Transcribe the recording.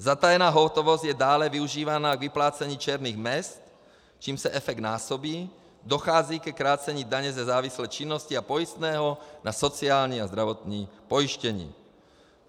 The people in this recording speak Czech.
Zatajená hotovost je dále využívána k vyplácení černých mezd, čímž se efekt násobí, dochází ke krácení daně ze závislé činnosti a pojistného na sociální a zdravotní pojištění.